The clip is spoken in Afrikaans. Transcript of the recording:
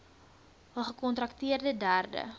hul gekontrakteerde derde